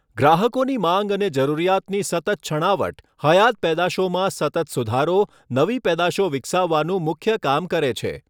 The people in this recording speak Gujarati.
ગ્રાહકોની માંગ અને જરૂરિયાતની સતત છણાવટ હયાત પેદાશોમાં સતત સુધારો નવી પેદાશો વિકસાવવાનું મુખ્ય કામ કરે છે.